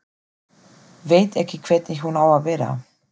Veit ekki hvernig hún á að vera.